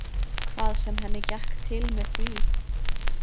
Hvað sem henni gekk til með því.